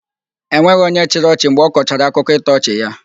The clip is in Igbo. E nweghị onye chịrị ọchị mgbe ọkọchara akụkọ ịtọ ọchị ya.